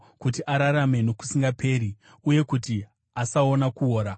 kuti ararame nokusingaperi uye kuti asaona kuora.